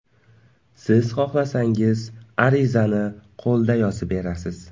Siz xohlasangiz, arizani qo‘lda yozib berasiz.